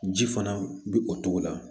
Ji fana bi o togo la